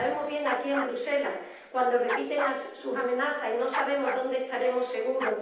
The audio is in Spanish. Lo sabemos bien aquí, en Bruselas, cuando repiten sus amenazas y no sabemos dónde estaremos seguros.